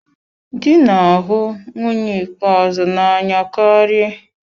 Dị na-ahụ nwunye ikpeazụ n'anya karị.